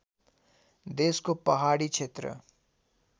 देशको पहाडी क्षेत्र